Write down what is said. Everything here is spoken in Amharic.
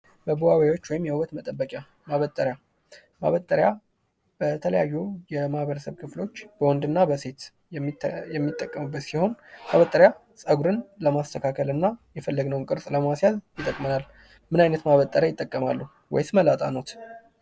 መዋቢያዎች ወይም የውበት መጠበቂያ ማበጠሪያ በተለያዩ የህብረተሰቡ ክፍሎች በወንድና በሴት የሚጠቀሙበት ሲሆን ፀጉርን ለማስተካከል እና የፈለግነው ቅርፅ ለማስያዝ ይጠቅማል ።ምን አይነት ማበጠሪያ ይጠቀማሉ ወይስ መላጣ ኖዎት።